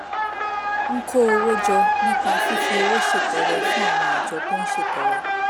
ń kó owó jọ nípa fífi owó ṣètọrẹ fún àwọn àjọ tó ń ṣètọrẹ